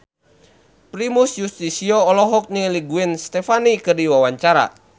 Primus Yustisio olohok ningali Gwen Stefani keur diwawancara